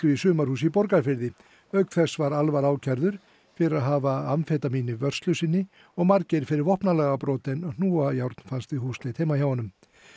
í sumarhúsi í Borgarfirði auk þess var ákærður fyrir að hafa amfetamín í vörslu sinni og Margeir fyrir vopnalagabrot en hnúajárn fannst við húsleit heima hjá honum